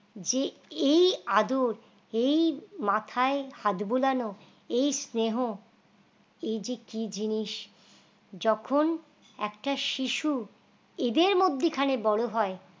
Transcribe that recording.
যে এই আদর এই মাথায় হাত বোলানো এই স্নেহ এই যে কি জিনিস যখন একটা শিশু এদের মধ্যখানে বড় হয়